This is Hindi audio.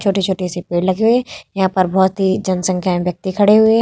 छोटे-छोटे से पेड़ लगे हुए हैं यहाँ पर बहुत ही जनसंख्या अन व्यक्ति खड़े हुए हैं ।